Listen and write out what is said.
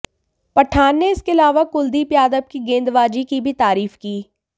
पठान ने इसके अलावा कुलदीप यादव की गेंदबाजी की भी तारीफ की